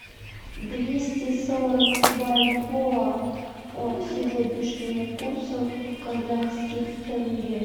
двести сорок бальбоа по сегодняшнему курсу в казахских тенге